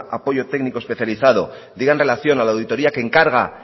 apoyo técnico especializado diga en relación a la auditoría que encarga